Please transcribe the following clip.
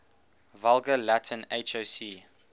vulgar latin hoc